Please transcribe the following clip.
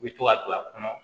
U bi to ka don a kɔnɔ